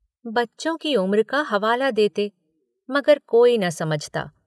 बच्चों की उम्र का हवाला देते, मगर कोई न समझता।